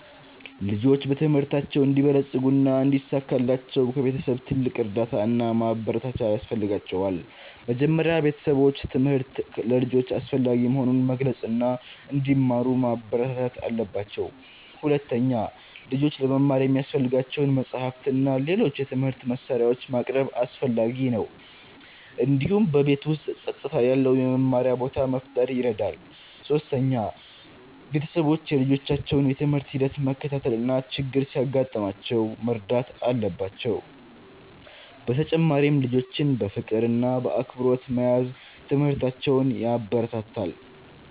ልጆች በትምህርታቸው እንዲበለጽጉ እና እንዲሳካላቸው ከቤተሰቦቻቸው ትልቅ እርዳታ እና ማበረታቻ ያስፈልጋቸዋል። መጀመሪያ ቤተሰቦች ትምህርት ለልጆች አስፈላጊ መሆኑን መግለጽ እና እንዲማሩ ማበረታታት አለባቸው። ሁለተኛ፣ ልጆች ለመማር የሚያስፈልጋቸውን መጻሕፍት እና ሌሎች የትምህርት መሳሪያዎች ማቅረብ አስፈላጊ ነው። እንዲሁም በቤት ውስጥ ጸጥታ ያለው የመማሪያ ቦታ መፍጠር ይረዳል። ሶስተኛ፣ ቤተሰቦች የልጆቻቸውን የትምህርት ሂደት መከታተል እና ችግር ሲያጋጥማቸው መርዳት አለባቸው። በተጨማሪም ልጆችን በፍቅር እና በአክብሮት መያዝ ትምህርታቸውን ያበረታታል።